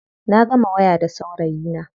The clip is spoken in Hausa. Na gama waya da saurayina.